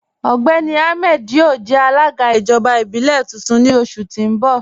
Ọgbẹ́ni Ahmed yọo jẹ̀ alaga ijọba ibilẹ̀ tuntun ni oṣù ti n bọ̀.